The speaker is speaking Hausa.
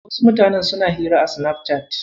Wasu mutanen suna hira a Sinafcat.